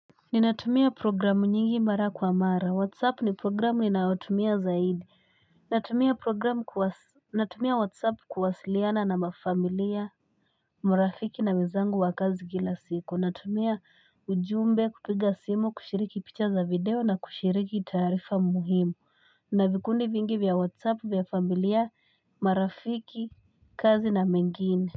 Ni natumia programu nyingi mara kwa mara. WhatsApp ni programu ni na watumia zaidi. Natumia programu kuwasiliyana na mafamilia, morafiki na mizangu wakazu kilasiku. Natumia ujumbia kutuiga simo kushiriki pictures a video na kushiriki tarifa muhimu. Na vikuni vingi via WhatsApp via familia, marafiki, kazi na mengini.